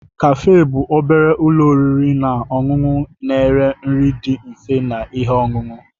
Cafe bụ obere ụlọ oriri na ọṅụṅụ na-ere nri dị mfe na ihe ọṅụṅụ.